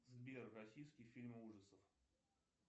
сбер российские фильмы ужасов